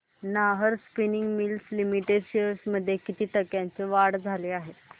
Nahar spinning mills limited shares मध्ये किती टक्क्यांची वाढ झाली